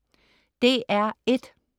DR1: